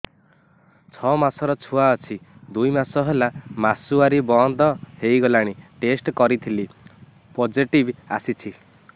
ଛଅ ମାସର ଛୁଆ ଅଛି ଦୁଇ ମାସ ହେଲା ମାସୁଆରି ବନ୍ଦ ହେଇଗଲାଣି ଟେଷ୍ଟ କରିଥିଲି ପୋଜିଟିଭ ଆସିଛି